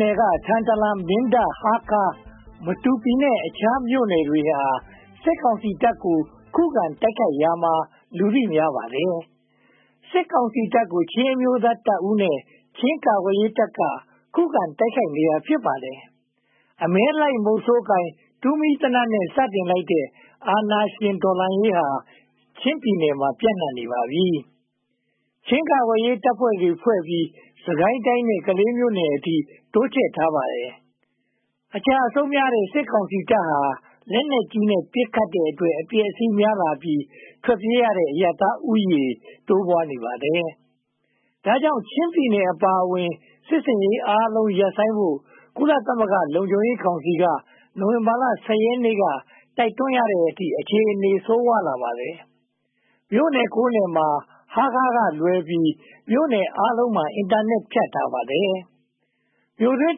နယ်က ထန်တလန်၊ မင်းတပ်၊ ဟားခါး၊ မတူပီနဲ့ အခြားမြို့နယ်တွေဟာ စစ်ကောင်စီတပ်ကို ခုခံတိုက်ခိုက်ရာမှာ လူသိများပါတယ်။ စစ်ကောင်စီတပ်ကို ချင်းအမျိုးသားတပ်ဦးနဲ့ ချင်းကာကွယ်ရေးတပ်က ခုခံတိုက်ခိုက်နေတာ ဖြစ်ပါတယ်။ အမဲလိုက်မုဆိုးကိုင် တူးမီးသေနတ်နဲ့ စတင်လိုက်တဲ့ အာဏာရှင်တော်လှန်ရေးဟာ ချင်းပြည်နယ်မှာ ပြန့်နံှပနေပါပြီ။ ချင်းကာကွယ်ရေးတပ်ဖွဲ့တွေဖွဲ့ပြီး၊ စစ်ကိုင်းတိုင်း ကလေးမြို့နယ်အထိ တိုးချဲ့ထားပါတယ်။ အကျအဆုံးများတဲ့ စစ်ကောင်စီတပ်ဟာ လက်နက်ကြီးနဲ့ ပစ်ခတ်တဲ့အတွက် အပျက်အစီးများလာပြီး ထွက်ပြေးရတဲ့ အရပ်သားဦးရေ တိုးပွားနေပါတယ်။ ဒါကြောင့် ချင်းပြည်နယ်အပါအဝင် စစ်ဆင်ရေးအားလုံး ရပ်ဆိုင်းဖို့ ကုလသမဂ္ဂ လုံခြုံရေးကောင်စီက နိုဝင်ဘာလ (၁၀) ရက်နေ့က တိုက်တွန်းရတဲ့အထိ အခြေအနေ ဆိုးဝါးလာပါတယ်။ မြို့နယ် (၉) မြို့နယ်မှာ ဟားခါးကလွဲပြီး မြို့နယ်အားလုံးမှာ အင်တာနက် ဖြတ်ထားပါတယ်။ မြို့တွင်း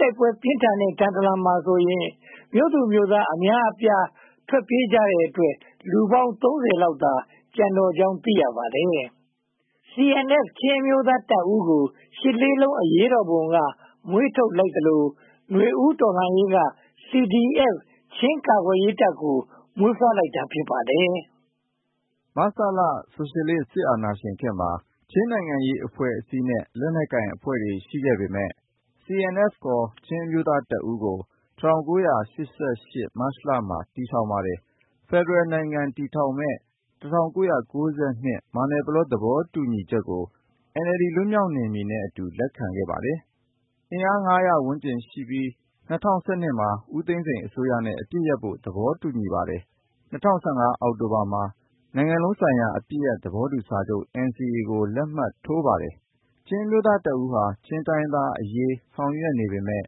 တိုက်ပွဲ ပြင်းထန်တဲ့ ထန်တလန်မှာဆိုရင် မြို့သူမြို့သားအများအပြား ထွက်ပြေးကြတဲ့အတွက် လူပေါင်း (၃၀) လောက်သာ ကျန်တော့ကြောင်း သိရပါတယ်။ CNF ချင်းအမျိုးသားတပ်ဦးကို ရှစ်လေးလုံး အရေးတော်ပုံက မွေးထုတ်ခဲ့သလို နွေဦးတော်လှန်ရေးက CDF ချင်းကာကွယ်ရေးတပ်ကို မွေးဖွားလိုက်တာ ဖြစ်ပါတယ်။ မဆလ ဆိုရှယ်လစ်စစ်အာဏာရှင်ခေတ်မှာ ချင်းနိုင်ငံရေးအဖွဲ့အစည်းနဲ့ လက်နက်ကိုင်အဖွဲ့တွေ ရှိခဲ့ပေမယ့်၊ CNF ချင်းအမျိုးသားတပ်ဦးကို ၁၉၈၈ မတ်လမှာ တည်ထောင်ခဲ့ပါတယ်။ ဖယ်ဒရယ်နိုင်ငံ တည်ထောင်မယ့် ၁၉၉၂ မယ်နာပလော သဘောတူချက်ကို NLD လွတ်မြောက်နယ်မြေနဲ့အတူ လက်ခံခဲ့ပါတယ်။ အင်အား (၅၀၀) ဝန်းကျင်ရှိပြီး ၂၀၁၂ မှာ ဦးသိန်းစိန်အစိုးရနဲ့ အပစ်ရပ်ဖို့ သဘောတူခဲ့ပါတယ်။ ၂၀၁၅ အောက်တိုဘာမှာ နိုင်ငံလုံးဆိုင်ရာ အပစ်ရပ်သဘောတူညီချက် NCA ကို လက်မှတ်ရေးထိုးပါတယ်။ ချင်းအမျိုးသားတပ်ဦးဟာ ချင်းတိုင်းရင်းသားအရေး ဆောင်ရွက်နေပေမယ့်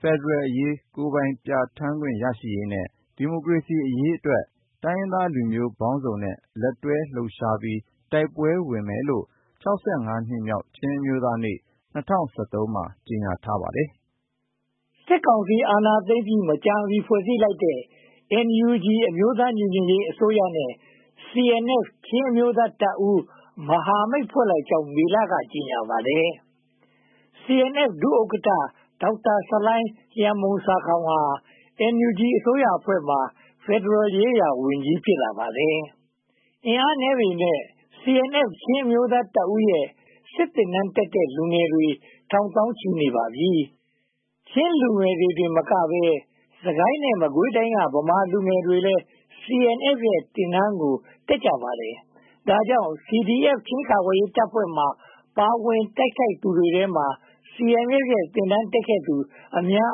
ဖယ်ဒရယ်အရေး၊ ကိုယ်ပိုင်ပြဌာန်းခွင့် ရရှိရေးနဲ့ ဒီမိုကရေစီအရေးအတွက် တိုင်းရင်းသားလူမျိုးပေါင်းစုံနဲ့ လက်တွဲလှုပ်ရှားပြီး တိုက်ပွဲဝင်မယ်လို့ (၆၅) နှစ်မြောက် ချင်းအမျိုးသားနေ့ ၂၀၁၃ မှာ ကြေညာထားပါတယ်။ စစ်ကောင်စီ အာဏာသိမ်းပြီး မကြာမီ ဖွဲ့စည်းလိုက်တဲ့ NUG အမျိုးသားညီညွှတ်ရေးအစိုးရနဲ့ CNF ချင်းအမျိုးသားတပ်ဦး မဟာမိတ် ဖွဲ့လိုက်ကြောင်း မေလမှာ ကြေညာပါတယ်။ CNF ဒုဥက္ကဋ္ဌ ဒေါက်တာဆလိုင်းလျန်မှုန်ဆာခေါင်,ဟာ NUG အစိုးရအဖွဲ့မှာ ဖယ်ဒရယ်ရေးရာဝန်ကြီး ဖြစ်လာပါတယ်။ အင်အားနည်းပေမယ့် CNF ချင်းအမျိုးသားတပ်ဦးရဲ့ စစ်သင်တန်းတက်တဲ့လူငယ်တွေ ထောင်သောင်းချီ ရှိနေပါပြီ။ ချင်းလူငယ်တွေတင်မကဘဲ စစ်ကိုင်းနဲ့ မကွေးတိုင်းက ဗမာလူငယ်တွေလည်း CNF ရဲ့ စစ်သင်တန်းကို တက်ကြပါတယ်။ ဒါကြောင့် CDF ချင်းကာကွယ်ရေးတပ်ဖွဲ့တွေမှာ ပါဝင်တိုက်ခိုက်နေသူတွေထဲက CNF ရဲ့ စစ်သင်တန်းတက်ခဲ့သူ အများ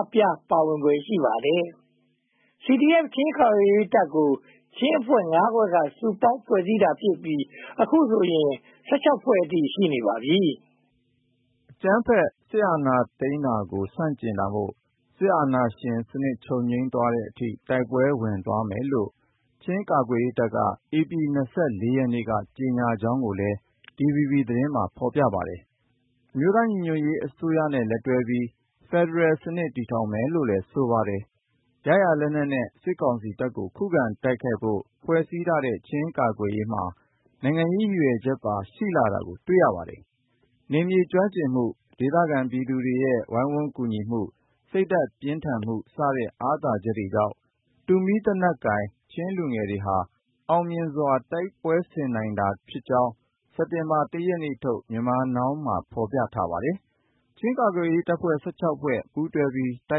အပြား ပါဝင်ဖွယ် ရှိပါတယ်။ CDF ချင်း ကာကွယ်ရေးတပ်ကို ချင်းအဖွဲ့ ငါးဖွဲ့က စုပေါင်းဖွဲ့စည်းထားတာဖြစ်ပြီး အခုဆိုရင် (၁၆) ဖွဲ့အထိ ရှိနေပါပြီ။ အကြမ်းဖက်စစ်အာဏာသိမ်းတာကို ဆန့်ကျင်တာမို့ စစ်အာဏာရှင်စနစ် ချုပ်ငြိမ်သွားတဲ့အထိ တိုက်ပွဲဝင်သွားမယ်လို့ ချင်းကာကွယ်ရေးတပ်က ဧပြီလ (၂၄) ရက်နေ့က ကြေညာကြောင်းကိုလည်း DVB သတင်းမှာ ဖော်ပြခဲ့ပါတယ်။ အမျိုးသားညီညွှတ်ရေးအစိုးရနဲ့ လက်တွဲပြီး ဖယ်ဒရယ်စနစ် တည်ထောငင်မယ်လို့လည်း ဆိုပါတယ်။ ရရာလက်နက်နဲ့ စစ်ကောင်စီတပ်ကို ခုခံတိုက်ခိုက်ဖို့ ဖွဲ့စည်းထားတဲ့ ချင်းကာကွယ်ရေးမှာ နိုင်ငံရေးရည်ရွယ်ချက်ပါ ရှိလာတာကို တွေ့ရပါတယ်။ နယ်မြေကျွမ်းကျင်မှု၊ ဒေသခံပြည်သူတွေရဲ့ ကူညီရိုင်းပင်းမှု၊ စိတ်ဓါတ်ပြင်းထန်မှုစတဲ့ အာသာချက်တွေကြောင့် တူးမီးသေနတ်ကိုင် ချင်းလူငယ်တွေ အောင်မြင်စွာ တိုက်ပွဲဆင်နိုင်တာဖြစ်ကြောင်း စက်တင်ဘာလ (၁) ရက်နေ့ထုတ် Myanmar Now မှာ ဖော်ပြထားပါတယ်။ ချင်းကာကွယ်ရေးတပ်ဖွဲ့ (၁၆) ဖွဲ့ ပူးတွဲပြီး တို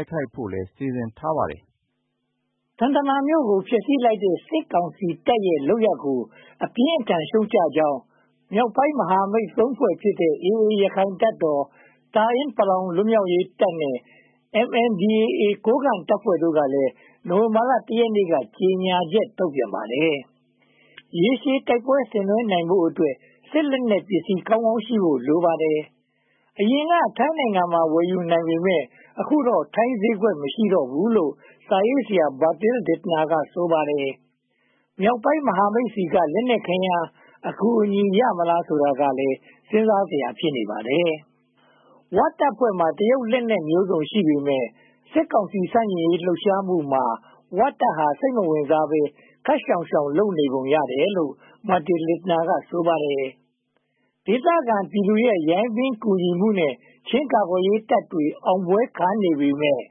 က်ခိုက်ဖို့လည်း စီစဉ်ထားပါတယ်။ ထန်တလန်မြို့ကို ဖျက်ဆီးခဲ့တဲ့ စစ်ကောင်စီရဲ့လုပ်ရပ်ကို အပြင်းအထန် ရှုတ်ချကြောင်း မြောက်ပိုင်းမဟာမိတ်သုံးဖွဲ့ဖြစ်တဲ့ AA ရခိုင်တပ်တော်၊ တအာင်းပလောင်လွတ်မြောက်ရေးတပ်နဲ့ MNDAA ကိုးကန့်တပ်ဖွဲ့တို့ကလည်း နိုဝင်ဘာလ (၁) ရက်နေ့က ကြေညာချက် ထုတ်ပြန်ပါတယ်။ ရေရှည်တိုက်ပွဲ ဆင်နွဲဖို့အတွက် စစ်လက်နက်ပစ္စည်း ကောင်းကောင်းရှိဖို့လည်း လိုပါတယ်။ အရင်က ထိုင်းနိုင်ငံမှာ ဝယ်ယူနိုင်ပေမယ့် အခုတော့ ထိုင်းဈေးကွက် မရှိတော့ဘူးလို့ စာရေးဆရာ Bertil Lintner က ဆိုပါတယ်။ မြောက်ပိုင်းမဟာမိတ်တွေဆီက လက်နက်ခဲယမ်း အကူအညီရမလား ဆိုတာကလည်း စဉ်းစားစရာ ဖြစ်နေပါတယ်။ ဝတပ်ဖွဲ့မှာ တရုတ်လက်နက်မျိုးစုံ ရှိနေပေမယ့် စစ်ကောင်စီ ဆန့်ကျင်လှုပ်ရှားမှုမှာ ဝတပ်ဟာ စိတ်မဝင်စားဘဲ ခပ်ရှောင်ရှောင် လုပ်နေပုံရတယ်လို့ Bertil Lintner က ဆိုပါတယ်။ ဒေသခံပြည်သူတွေရဲ့ ကူညီရိုင်းပင်းမှုနဲ့ ချင်းကာကွယ်ရေးတပ်တွေ အောင်ပွဲခံနေပေမယ့်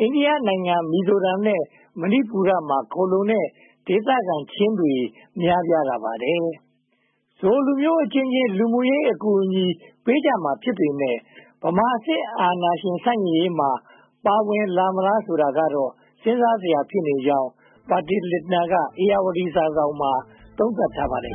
အိန္ဒိယနိုင်ငံ မီဇိုရမ်နဲ့ မဏီပူမှာ ခိုလှုံနေတဲ့ ဒေသခံချင်းတွေ များပြားလာပါတယ်။ ချင်းလူမျိုးအချင်းချင်း လူမှုရေးအကူအညီ ပေးကြမှာ ဖြစ်ပေမယ့်၊ ဗမာစစ်အာဏာရှင် ဆန့်ကျင်ရေးမှာ ပါဝင်လာမလားဆိုတာကတော့ စဉ်းစားစရာ ဖြစ်နေကြောင်း Bertil Lintner က ဧရာဝတီစာစောင်မှာ သုံးသပ်ထားပါတယ်